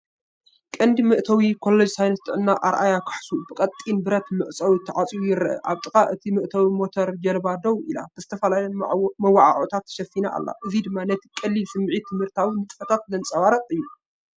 ቀንዲ መእተዊ “ኮሌጅ ሳይንስ ጥዕና ኣርያ ካህሱ” ብቐጢን ብረት መዕጸዊ ተዓጽዩ ይረአ። ኣብ ጥቓ እቲ መእተዊ ሞተር ጃልባ ደው ኢላ፡ ብዝተፈላለየ መወዓውዒታት ተሸፊና ኣላ፡ እዚ ድማ ነቲ ቀሊል ስምዒት ትምህርታዊ ንጥፈታት ዘንጸባርቕ እዩ።